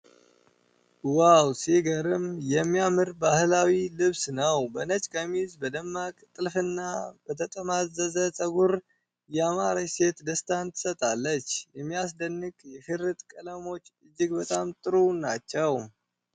ዋው! ሲገርም የሚያምር ባህላዊ ልብስ ነው! በነጭ ቀሚስ፣ በደማቅ ጥልፍና በተጠማዘዘ ጸጉር ያማረች ሴት ደስታን ትሰጣለች። የሚያስደንቅ የሽርጥ ቀለሞች እጅግ በጣም ጥሩ ናቸው።